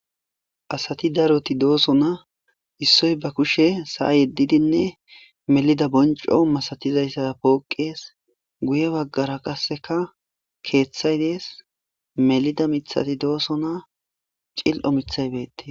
asati daroti dooso na issoy ba kushe sa7a yeddidinne melida bonco masatizayssa pooqees guye baggara qasseka keeththay dees melida mithati dooso na cil7o mithaybeete